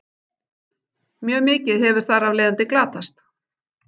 Mjög mikið hefur þar af leiðandi glatast.